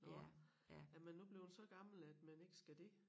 Nåh er man nu blevet så gammel at man ikke skal det